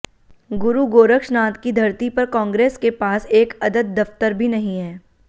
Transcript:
गुरु गोरक्षनाथ की धरती पर कॉन्ग्रेस के पास एक अदद दफ्तर भी नहीं है